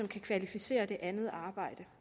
kan kvalificere det andet arbejde